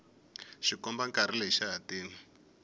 xikombankarhi lexi xa hatima